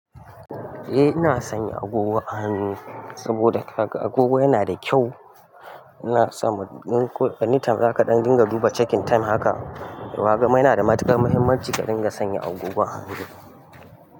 Eh ina sanya agogo a hannu saboda agogo yana da kyau. Ina so anytime zaka dinga duba checking time haka. Wa gama yana da matukar muhimmanci ka dinga sanya agogon hannu.